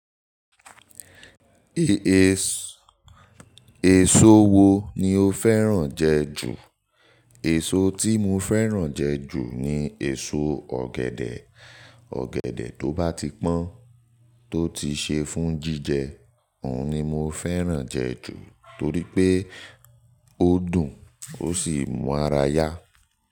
Ès è-so wo ni o fẹ́ràn jẹ ju? Èso tí mo fẹ́ràn jẹ ju ni èso ọ̀gẹ̀dẹ̀. Ọ̀gẹ̀dẹ̀ tó bá ti pọ́n, tó ti ṣe fún jíjẹ, òun ni mo fẹ́ràn jẹ ju. Torí pé ó dùn, ó sì mú ára yá.